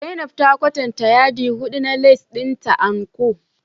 Zainab ta kwatanta yadi hudu na lace dinta And-Co